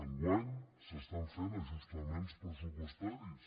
enguany s’estan fent ajustaments pressupostaris